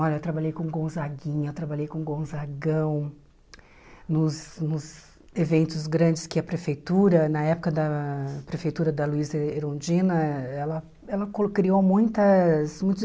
Olha, eu trabalhei com Gonzaguinha, trabalhei com Gonzagão, nos nos eventos grandes que a prefeitura, na época da prefeitura da Luísa Erundina, ela ela colo criou muitas muitos